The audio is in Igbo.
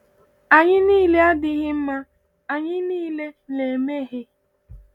Anyị niile adịghị mma, anyị niile na-emehie.